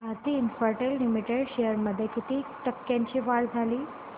Bharti Infratel limited shares मध्ये किती टक्क्यांची वाढ झाली